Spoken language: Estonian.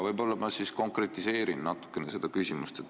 Võib-olla ma siis konkretiseerin natuke seda küsimust.